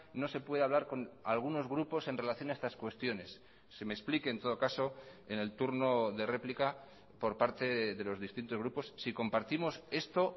no se puede hablar con algunos grupos en relación a estas cuestiones se me explique en todo caso en el turno de réplica por parte de los distintos grupos si compartimos esto